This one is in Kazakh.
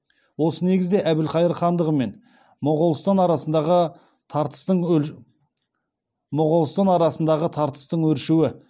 осы негізде әбілхайыр хандығы мен моғолстан арасындағы тартыстың өршуі